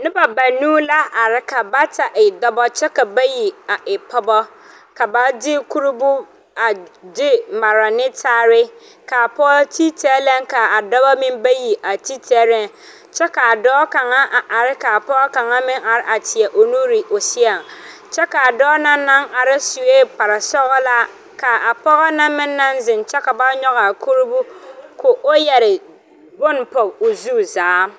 Noba banuu la are ka bata e dɔbɔ kyɛ ka bayi e pɔgbɔ. Ba la kuree a mara taa. A dɔbɔ ane a pɔgbɔ ti laa kuroo taalɛ.A dɔɔ kaŋa ane pɔge arɛɛ la ka pɔge de o nuure teɛ ne o seɛ.A dɔɔ kaŋa naŋ are su la kparesɔglaa kyɛ ka pɔge ziŋ de bone pɔge ne o zu zaa.